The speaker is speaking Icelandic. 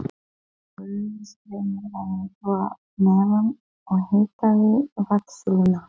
Gufustreymi væri þó að neðan og hitaði vatnssúluna.